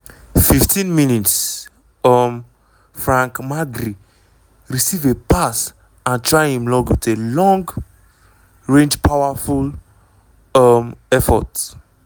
15 mins um - frank magri receive a pass and try im luck wit a long-range powerful um effort.